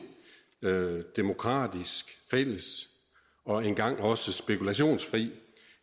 demokratisk fælles og engang også spekulationsfri